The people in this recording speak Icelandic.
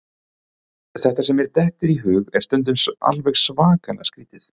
Það sem mér dettur í hug er stundum alveg svakalega skrítið.